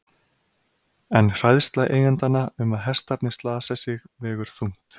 En hræðsla eigendanna um að hestarnir slasi sig vegur þungt.